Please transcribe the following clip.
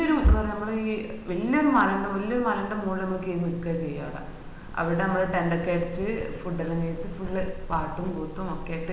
ഇത് ഒരു നമ്മള്വ വല്യ ഒരു മല ൻറെ വല്യ ഒരു മലന്റെ മോളിലി കേരി നിക്ക ചെയ്യ അവിട അമ്മാള് tent ഒക്കെ അടിച്ചി food ഒക്കെ കഴിച്ഛ് full പാട്ടും കൂത്തും ഒക്കെ ആയിട്ട്